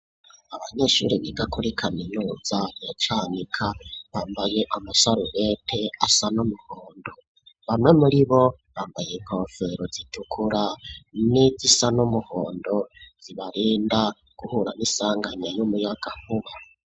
abanyeshuri biga kuri kaminuza ya canika bambaye amasarubete asa n'umuhondo bamwe muri bo bambaye inkofero zitukura n'izisa n'umuhondo zibarinda guhura n,isanganya ry,umuyagankuba.